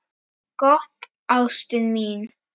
Gott, ástin mín.